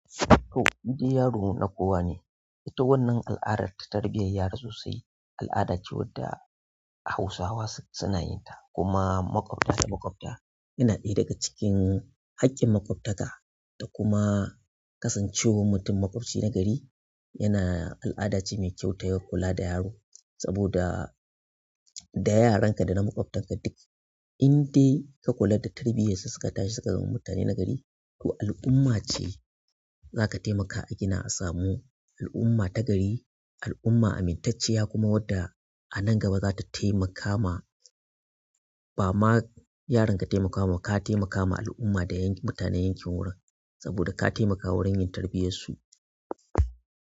To, shi dai yaro na kowa ne. Ita wannan al'adar ta tarbiyyar yara sosai. Al'ada ce wadda Hausawa suna yin ta kuma maƙwabta da maƙwabta yana ɗaya daga cikin haƙƙin maƙwabtaka. Kuma kasan cewar mutum maƙwabci nagari yana al'ada ce ta fita da yaro sabo da da yaran ka da na maƙwabtan ka duk indai ka kula da tarbiyyar su suka tashi suka zama mutane na gari. To al'umma ce za ka taimaka a gina a samu al'umma ta gari, al'umma amintacciya kuma wadda a nan gaba za ta taimaka ma ba ma yaran ka taimakawa ba ka taimakawa al'umma da yankin mutanen yankin wurin saboda ka taimakawa wurin yin tarbiyyar su.